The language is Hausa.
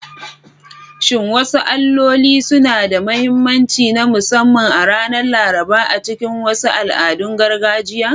Shin wasu alloli suna da mahimmanci na musamman a ranar Laraba a cikin wasu al'adun gargajiya?